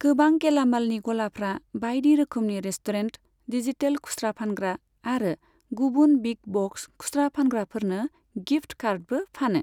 गोबां गेलामालनि ग'लाफ्रा बायदि रोखोमनि रेस्टुरेन्ट, डिजिटेल खुस्रा फानग्रा आरो गुबुन बिग ब'क्स खुस्रा फानग्राफोरनो गिफ्ट कार्डबो फानो।